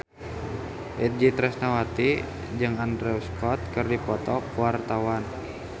Itje Tresnawati jeung Andrew Scott keur dipoto ku wartawan